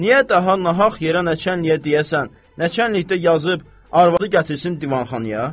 Niyə daha nahaq yerə nəçənliyə deyəsən, nəçənlikdə yazıb arvadı gətirsin divanxanaya?